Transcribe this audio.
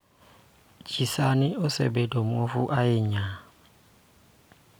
Ji sani osebedo muofu ahinya